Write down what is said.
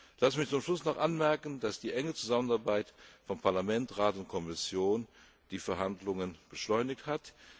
Lassen Sie mich zum Schluss noch anmerken, dass die enge Zusammenarbeit von Parlament, Rat und Kommission die Verhandlungen beschleunigt hat.